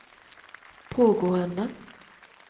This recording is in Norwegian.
pågående